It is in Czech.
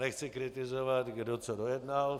Nechci kritizovat, kdo co dojednal.